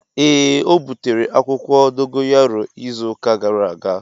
Ee o butere akwukwo dogayaro izu uka gara aga.